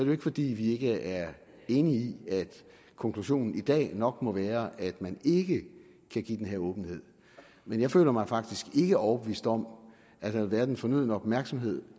jo ikke fordi vi ikke er enige i at konklusionen i dag nok må være at man ikke kan give den her åbenhed men jeg føler mig faktisk ikke overbevist om at der har været den fornødne opmærksomhed